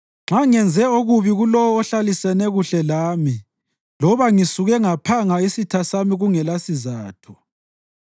nxa ngenze okubi kulowo ohlalisene kuhle lami loba ngisuke ngaphanga isitha sami kungelasizatho,